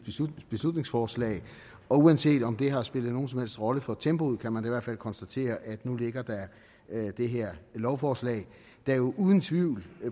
beslutningsforslag og uanset om det har spillet nogen som helst rolle for tempoet kan man da i hvert fald konstatere at nu ligger der det her lovforslag der jo uden tvivl